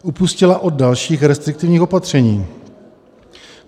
- Upustila od dalších restriktivních opatření.